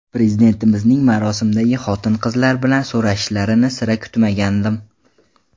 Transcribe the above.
Prezidentimizning marosimdagi xotin-qizlar bilan so‘rashishlarini sira kutmagandim.